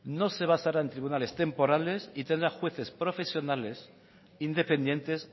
no se basará en tribunales temporales y tendrá jueces profesionales independientes